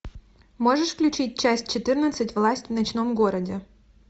можешь включить часть четырнадцать власть в ночном городе